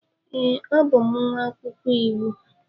Ee, abụ m nwa akwụkwọ iwu.